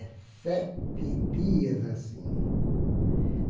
dezessete dias assim.